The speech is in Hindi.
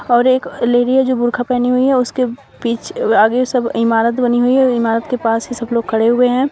और एक लेडी है जो बुरखा पहनी हुई है उसके पीछे आगे सब इमारत बनी हुई है और इमारत के पास ही सब लोग खड़े हुए हैं।